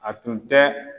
A tun tɛ